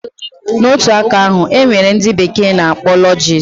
Na otu aka ahu, enwere ndi bekee na akpọ lodges